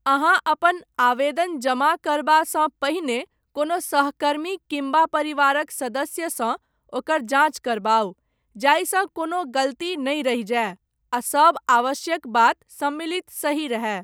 अहाँ अपन आवेदन जमा करबासँ पहिने, कोनो सहकर्मी किम्बा परिवारक सदस्यसँ, ओकर जाँच करबाउ, जाहिसँ कोनो गलती नहि रहि जाय, आ सभ आवश्यक बात सम्मिलित सही रहए।